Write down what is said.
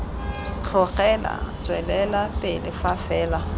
tlhokega tswelela pele fa fela